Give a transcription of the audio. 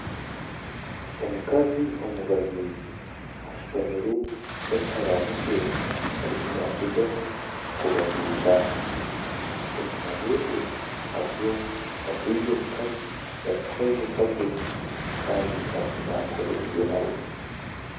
Omukazi omubazizi ashutamire n'ekiharani kye arimu naagyezaho kubaziira enyuma ye hariyo ondiijo mukazi otarikuhwezeka gye Kandi arimu naakora ebye nawe